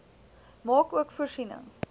maak ook voorsiening